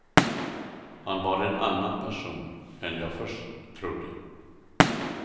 Han var en annan person än jag först trodde.